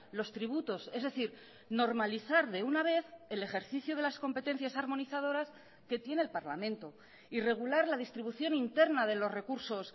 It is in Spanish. los tributos es decir normalizar de una vez el ejercicio de las competencias armonizadoras que tiene el parlamento y regular la distribución interna de los recursos